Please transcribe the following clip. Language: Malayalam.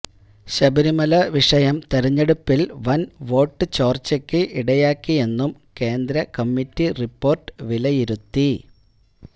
ശബരിമല വിഷയം തെരഞ്ഞെടുപ്പില് വന് വോട്ട് ചോര്ച്ചയ്ക്ക് ഇടയാക്കിയെന്നും കേന്ദ്ര കമ്മിറ്റി റിപ്പോര്ട്ട് വിലയിരുത്തി